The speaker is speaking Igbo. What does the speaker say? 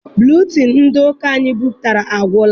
Buletịịnụ ndị ụka anyị bipụtara agwụla.